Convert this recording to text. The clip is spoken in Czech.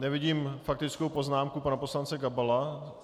Nevidím faktickou poznámku pana poslance Gabala.